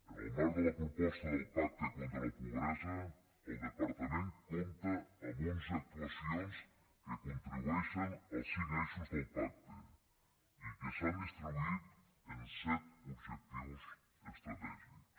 en el marc de la proposta del pacte contra la pobresa el departament compta amb onze actuacions que contribueixen al cinc eixos del pacte i que s’han distribuït en set objectius estratègics